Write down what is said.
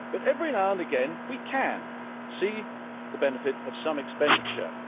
But, every now and again, we can see the benefit of some expenditure.